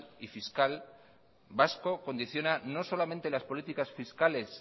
y fiscal vasco condiciona no solamente las políticas fiscales